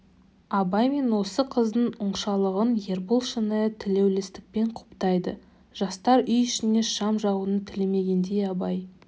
абай мен осы қыздың оңашалығын ербол шынайы тілеулестікпен құптайды жастар үй ішіне шам жағуын тілемегендей абай